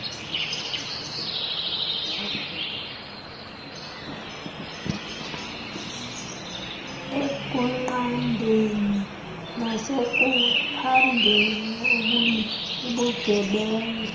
ekunqandeni nasekuphandeni ubugebenga